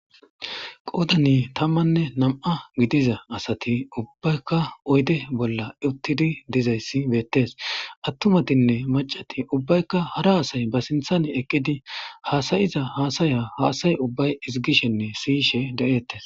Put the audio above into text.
Qoddani tamanne nami'a giddiya assati ubbayikka oyidde bolla utiddi bettesi. Atumatine maccati ubbayikka haara assayi ha sinithani eqidi hassaya hassayishe detesi.